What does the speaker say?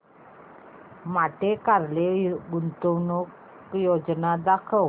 Monte Carlo गुंतवणूक योजना दाखव